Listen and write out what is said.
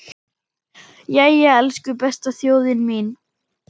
Jæja, elsku besta þjóðin mín!